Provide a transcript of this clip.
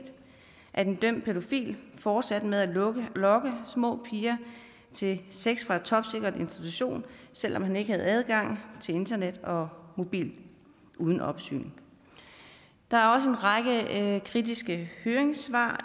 at en dømt pædofil fortsatte med at lokke små piger til sex fra en topsikret institution selv om han ikke havde adgang til internet og mobil uden opsyn der er også en række kritiske høringssvar